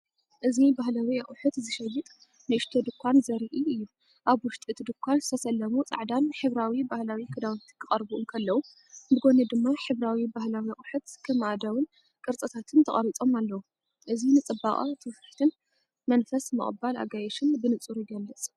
እዚ ባህላዊ ኣቑሑት ዝሸይጥ ንእሽቶ ድኳን ዘርኢ እዩ። ኣብ ውሽጢ እቲ ድኳን ዝተሰለሙ ጻዕዳን ሕብራዊ ባህላዊ ክዳውንቲ ክቐርቡ እንከለዉ፡ ብጎኒ ድማ ሕብራዊ ባህላዊ ኣቑሑት ከም ኣእዳውን ቅርጻታትን ተቐሪጾም ኣለዉ። እዚ ንጽባቐ ትውፊትን መንፈስ ምቕባል ኣጋይሽን ብንጹር ይገልጽ።